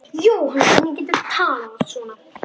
Jóhann, hvernig geturðu talað svona?